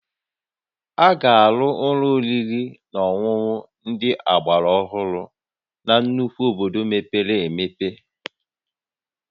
A ga-arụ ụlọ oriri na ọṅụṅụ ndị ọgbara ohụrụ na nnukwu obodo mepere emepe